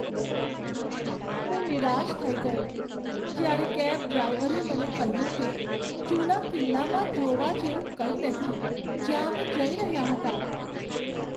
હું નિરાશ થઈ ગયો જ્યારે કેબ ડ્રાઈવરે મને કહ્યું કે જૂના કિલ્લામાં જોવા જેવું કંઈ નથી, જ્યાં અમે જઈ રહ્યા હતા.